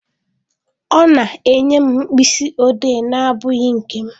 Ọ na-enye m mkpịsị odee na-abụghị nke m.